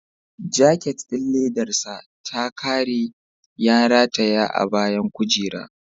Jaket ɗin ledar sa da ya ƙare, ya rataya a bayan kujera.